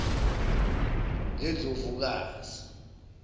lendlovukazi